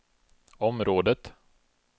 området